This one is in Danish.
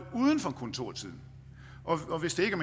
uden for kontortid og hvis det ikke